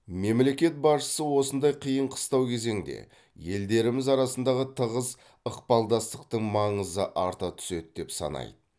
мемлекет басшысы осындай қиын қыстау кезеңде елдеріміз арасындағы тығыз ықпалдастықтың маңызы арта түседі деп санайды